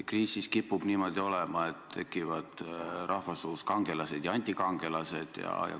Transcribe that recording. Kriisis kipub niimoodi olema, et rahvasuus tekivad kangelased ja antikangelased.